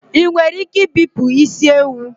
Ị nwere ike ibipụ isi ewu?